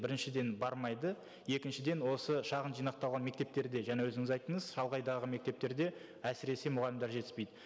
біріншіден бармайды екіншіден осы шағын жинақталған мектептерде жаңа өзіңіз айттыңыз шалғайдағы мектептерде әсіресе мұғалімдер жетіспейді